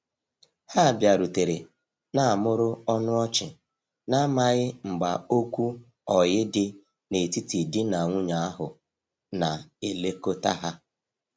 Ha biarutere na mụrụ ọnụ ọchi, na amaghi mgba okwu oyi di na etiti di na nwunye ahu na elekota ha